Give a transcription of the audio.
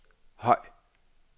høj